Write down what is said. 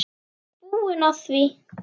Ég er búinn að því.